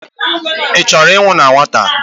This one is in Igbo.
Ị chọrọ ịnwụ na nwata?